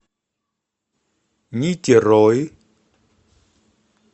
нитерой